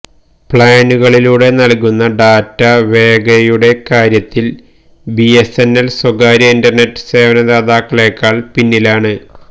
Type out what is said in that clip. പ്ലാനുകളിലൂടെ നൽകുന്ന ഡാറ്റ വേഗയുടെ കാര്യത്തിൽ ബിഎസ്എൻഎൽ സ്വകാര്യ ഇന്റർനെറ്റ് സേവനദാതാക്കളെക്കാൾ പിന്നിലാണ്